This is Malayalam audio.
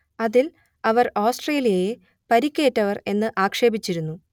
അതിൽ അവർ ഓസ്ട്രേലിയയെ പരിക്കേറ്റവർ എന്ന് ആക്ഷേപിച്ചിരുന്നു